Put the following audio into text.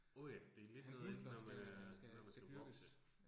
Åh ja. Det lidt noget andet, når man når man skal vokse